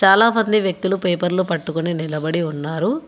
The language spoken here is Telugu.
చాలామంది వ్యక్తులు పేపర్లు పట్టుకొని నిలబడి ఉన్నారు.